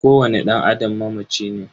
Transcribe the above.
Kowani dan Adam mamaci ne.